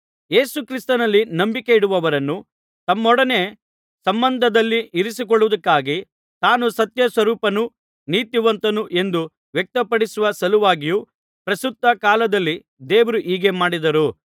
ಯೇಸುಕ್ರಿಸ್ತನಲ್ಲಿ ನಂಬಿಕೆ ಇಡುವವರನ್ನು ತಮ್ಮೊಡನೆ ಸತ್ಸಂಬಂಧದಲ್ಲಿ ಇರಿಸಿಕೊಳ್ಳುವುದಕ್ಕಾಗಿಯು ತಾನು ಸತ್ಯಸ್ವರೂಪನೂ ನೀತಿವಂತನೂ ಎಂದು ವ್ಯಕ್ತಪಡಿಸುವ ಸಲುವಾಗಿಯೂ ಪ್ರಸ್ತುತ ಕಾಲದಲ್ಲಿ ದೇವರು ಹೀಗೆ ಮಾಡಿದರು